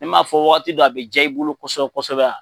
Ne m'a fɔ wagati dɔ a bi ja i bolo kosɛbɛ kosɛbɛ